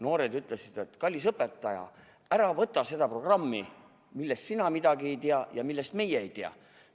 Noored ütlesid, et kallis õpetaja, ära võta seda programmi, millest sina midagi ei tea ja millest meie midagi ei tea.